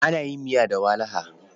Ana yin miya da walaha.